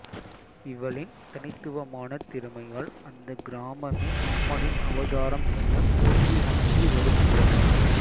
இவளின் தனித்துவமான திறமையால் அந்த கிராமமே அம்மனின் அவதாரம் என போற்றி வணங்கி வருகின்றனர்